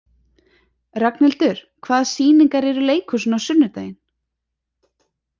Ragnhildur, hvaða sýningar eru í leikhúsinu á sunnudaginn?